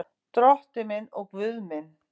Drottinn minn og Guð minn.